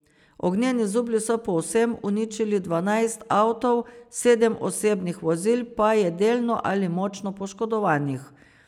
Ognjeni zublji so povsem uničili dvanajst avtov, sedem osebnih vozil pa je delno ali močno poškodovanih.